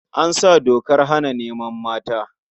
An sa dokar hana neman mata.